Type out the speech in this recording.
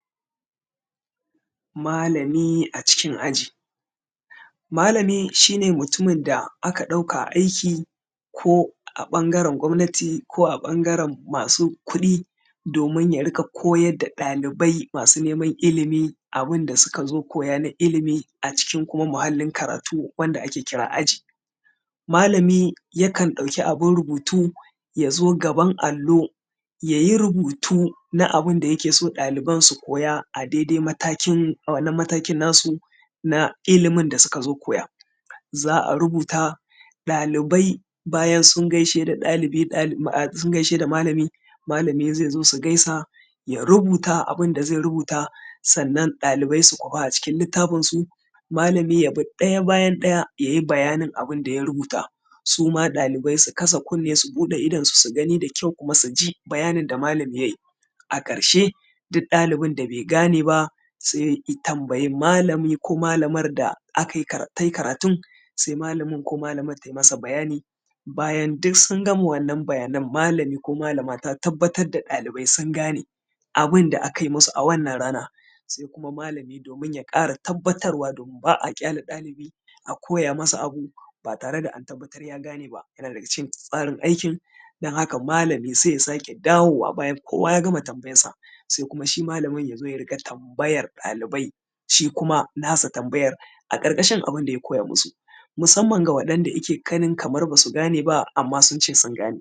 Malami acikin aji. Malami shi ne mutumin da aka ɗauka aiki ko a ɓangaren gwamnati, ko a ɓangaren masu kuɗi domin ya rinƙa koyar da ɗalibai masu neman ilimi abin da suka koya na ilimi acikin kuma muhallin karatu wanda ake kira aji. Malami yakan ɗauki abin rubutu ya zo gaban allo ya yi rubutu na abin da yake so ɗaliban su koya a daidai matakin, wannan matakin na su na ilimin da suka zo koya za a rubuta. Ɗalibai bayan sun gaishe da ɗalibi, ɗali ah, sun gaishe da malami, malami zai zo su gaisa, ya rubuta abin da zai rubuta, sannan ɗalibai su kwafa acikin littafinsu, malami ya bi ɗaya bayan ɗaya ya yi bayanin abin da ya rubuta, su ma ɗalibai su kasa kunne su buɗe idonsu su gani da kyau kuma su ji bayanin da malami ya yi. A ƙarshe duk ɗalibin da bai gane ba ya sai i tambayi malami ko malamar da aka yi ta yi karatun, sai malamin ko malamar ta yi masa bayani, bayan duk sun gama wannan bayanan sai malami ko malama ta tabbatar da ɗalibai sun gane abin da aka yi masu a wannan rana. Sai kuma malami domin ya ƙara tabbatarwa domin ba a ƙyale ɗalibi a koya masa abu ba tare da an tabbatar ya gane ba yana daga cikin tsarin aikin, don haka malami sai ya sake dawowa bayan kowa ya gama tambayarsa, sai kuma shi malamin ya zo ya dinga tambayar ɗalibai shi kuma na sa tambayar a ƙarƙashi abin da ya koya masu, musamman ga waɗanda yake ganin basu gane ba su ce sun gane.